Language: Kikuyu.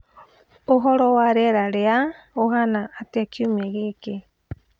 ũhoro wa rĩera rĩa ũhaana atia kiumia gĩkĩ